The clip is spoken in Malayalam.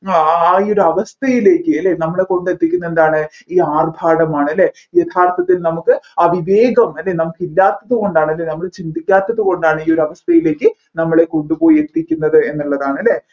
ആ ആ ഈ അവസ്ഥയില്ലേക്ക് അല്ലെ നമ്മളെ കൊണ്ട് എത്തിക്കുന്നത് എന്താണ് ഈ ആർഭാടമാണ് അല്ലെ യഥാർത്ഥത്തിൽ നമ്മുക്ക് അവിവേകം അല്ലെ നമ്മുക്കിലാത്തത് കൊണ്ടാണ് അല്ലെ നമ്മൾ ചിന്തിക്കാത്തത് കൊണ്ടാണ് ഈ ഒരു അവസ്ഥയിലേക്ക് നമ്മളെ കൊണ്ടുപോയി എത്തിക്കുന്നത് എന്നുള്ളതാണ്